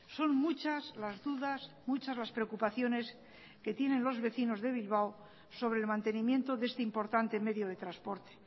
son muchas las dudas muchas las preocupaciones que tienen los vecinos de bilbao sobre el mantenimiento de este importante medio de transporte